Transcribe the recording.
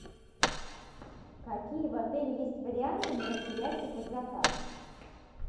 какие в отеле есть варианты мероприятий под заказ